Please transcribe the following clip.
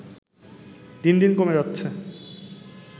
দিন দিন কমে যাচ্ছে